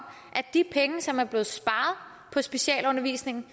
de penge som er blevet sparet på specialundervisningen